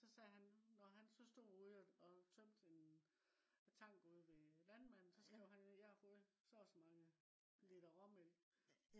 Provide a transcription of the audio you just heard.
så sagde han når han så stop ude og øh tømte en tank ude ved landmanden så skrev han ned jeg har fået så og så mange liter råmælk